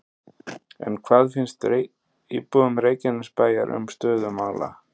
En hvað finnst íbúum Reykjanesbæjar um stöðu mála?